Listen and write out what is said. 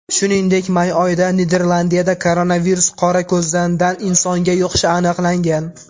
Shuningdek, may oyida Niderlandiyada koronavirus qorako‘zandan insonga yuqishi aniqlangan .